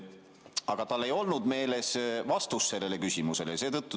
Aga tal ei olnud meeles vastus, mis sellele küsimusele anti.